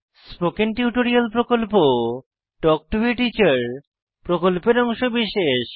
spoken tutorial প্রকল্প talk to a teacher প্রকল্পের অংশবিশেষ